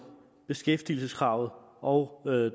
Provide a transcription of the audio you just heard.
beskæftigelseskravet og når det